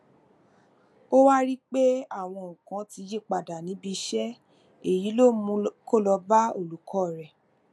ó wá rí i pé àwọn nǹkan ti yí padà níbi iṣé èyí ló mú kó lọ bá olùkó rẹ